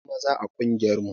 Akwai maza a ƙungiyar mu